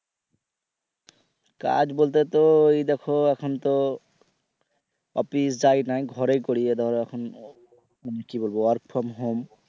কাজ বলতে তো ওই দেখো এখন তো অফিস যাই না ঘরে করি ধরো এখন কি বলবো work from home